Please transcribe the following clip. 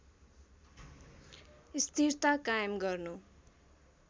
स्थिरता कायम गर्नु